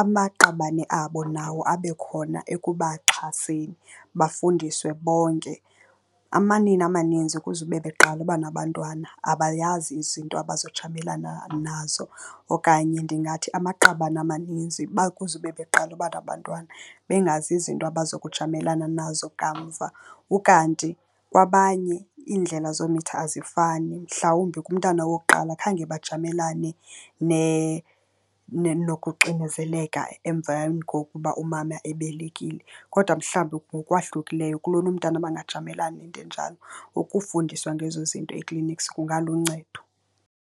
amaqabane abo nawo abe khona ekubaxhaseni bafundiswe bonke. Amanina amaninzi kuzube beqala uba nabantwana, abayazi izinto abazojamelana nazo okanye ndingathi amaqabane amaninzi kuzube beqala uba nabantwana bengazi izinto abazokujamelana nazo kamva. Ukanti kwabanye iindlela zomitha azifani, mhlawumbi kumntana wokuqala khange bajamelana nokuxinezeleka emveni kokuba umama ebelekile kodwa mhlawumbi ngokwahlukileyo, kulona umntana bangajamelana nento enjalo. Ukufundiswa ngezo zinto e-clinics kungaluncedo.